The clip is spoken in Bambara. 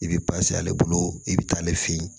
I bɛ ale bolo i bɛ taa ale fin